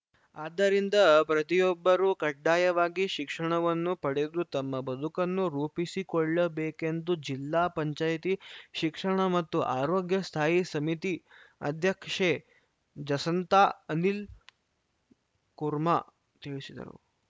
ಆದ್ದರಿಂದ ಪ್ರತಿಯೊಬ್ಬರೂ ಕಡ್ಡಾಯವಾಗಿ ಶಿಕ್ಷಣವನ್ನು ಪಡೆದು ತಮ್ಮ ಬದುಕನ್ನು ರೂಪಿಸಿಕೊಳ್ಳಬೇಕೆಂದು ಜಿಲ್ಲಾ ಪಂಚಾಯ್ತಿ ಶಿಕ್ಷಣ ಮತ್ತು ಆರೋಗ್ಯ ಸ್ಥಾಯಿ ಸಮಿತಿ ಅಧ್ಯಕ್ಷೆ ಜಸಂತಾ ಅನಿಲ್‌ಕುರ್‌ಮಾ ತಿಳಿಸಿದರು